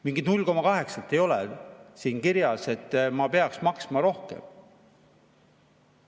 Mingit 0,8-t ei ole siin kirjas, et ma peaks maksma rohkem.